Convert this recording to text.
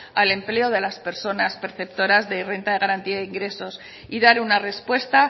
al empleo de las personas perceptoras de renta de garantía de ingresos y dar una respuesta